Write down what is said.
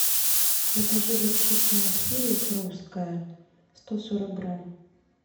закажи горчицу махеев русская сто сорок грамм